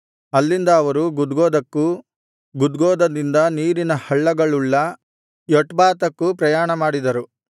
ಅಲ್ಲಿಂದ ಅವರು ಗುದ್ಗೋದಕ್ಕೂ ಗುದ್ಗೋದದಿಂದ ನೀರಿನ ಹಳ್ಳಗಳುಳ್ಳ ಯೊಟ್ಬಾತಕ್ಕೂ ಪ್ರಯಾಣ ಮಾಡಿದರು